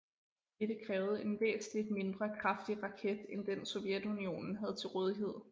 Dette krævede en væsentligt mindre kraftig raket end den Sovjetunionen havde til rådighed